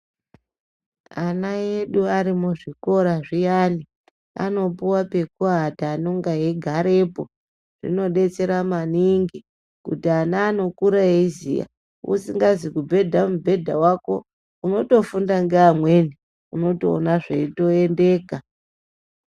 Ana edu ari muzvikora zviyana anopiwa pekuwata anonge eigarepo. Zvinodetsera maningi kuti ana anokura eiziya, usingazi kubhedha mubhedha wako unotofunda ngeamweni. Unotoona zveiyendeka.